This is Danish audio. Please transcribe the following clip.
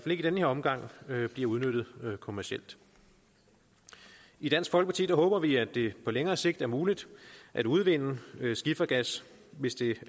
i den her omgang bliver udnyttet kommercielt i dansk folkeparti håber vi at det på længere sigt er muligt at udvinde skifergas hvis det